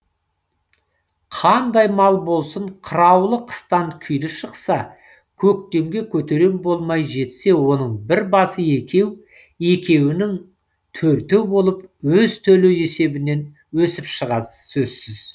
қандай мал болсын қыраулы қыстан күйлі шықса көктемге көтерем болмай жетсе оның бір басы екеу екеуінің төртеу болып өз төлі есебінен өсіп шыға сөзсіз